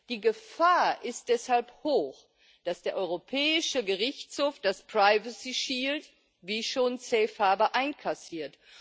Die Gefahr ist deshalb hoch, dass der Europäische Gerichtshof das Privacy Shield wie schon Safe Harbour einkassiert.